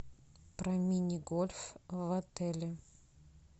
про мини гольф в отеле